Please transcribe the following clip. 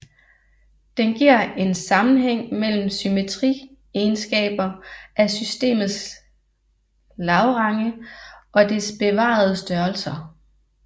Den giver en sammenhæng mellem symmetriegenskaber af systemets Lagrange og dets bevarede størrelser